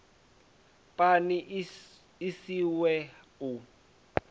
pani i si swe u